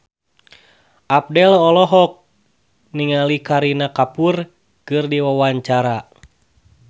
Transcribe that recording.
Abdel olohok ningali Kareena Kapoor keur diwawancara